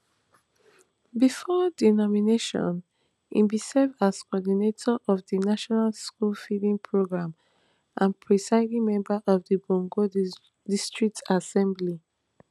bifor di nomination e bin serve as coordinator of di national school feeding programme and presiding member of of bongo district assembly